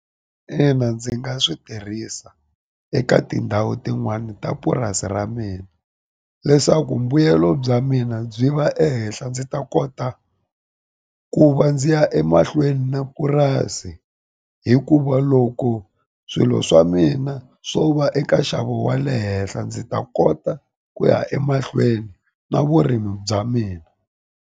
Ina ndzi nga swi tirhisa eka tindhawu tin'wani ta purasi ra mina leswaku mbuyelo bya mina byi va ehenhla ndzi ta kota ku va ndzi ya e mahlweni ni purasi hikuva loko swilo swa mina swo va eka nxavo wa le henhla ndzi ta kota ku ya emahlweni na vurimi bya mina.